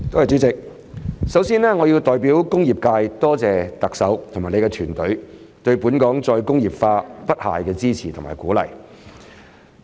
主席，首先，我要代表工業界多謝特首和她的團隊對本港再工業化不懈的支持和鼓勵。